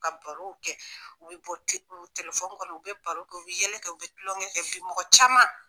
U ka baro kɛ. U bi bɔ kɔnɔ u bɛ baro kɛ u bɛ yɛlɛ kɛ u bi kulonkɛ mɔgɔ caman.